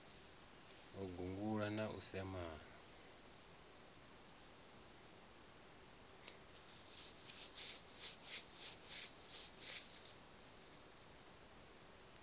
u gungula na u semana